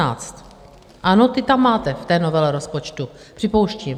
Ano, ty tam máte v té novele rozpočtu, připouštím.